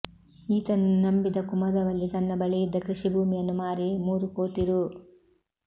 ಈತನನ್ನು ನಂಬಿದ ಕುಮದವಲ್ಲಿ ತನ್ನ ಬಳಿಯಿದ್ದ ಕೃಷಿಭೂಮಿಯನ್ನು ಮಾರಿ ಮೂರು ಕೋಟಿ ರೂ